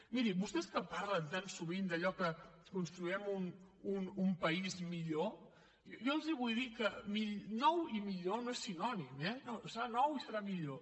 miri vostès que parlen tan sovint d’allò que construirem un país millor jo els vull dir que nou i millor no són sinònims eh serà nou i serà millor